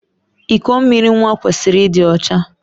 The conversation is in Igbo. Iko mmiri nwa kwesịrị ịdị ọcha.